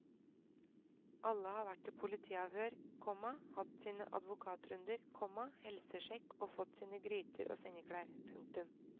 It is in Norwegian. Alle har vært i politiavhør, komma hatt sine advokatrunder, komma helsesjekk og fått sine gryter og sengeklær. punktum